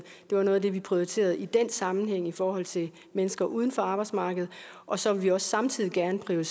det var noget af det vi prioriterede i den sammenhæng i forhold til mennesker uden for arbejdsmarkedet og så vil vi også samtidig gerne